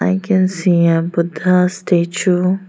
we can see a buddha statue.